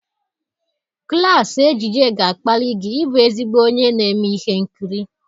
Klaasị ejije ga-akpali gị ịbụ ezigbo onye na-eme ihe nkiri.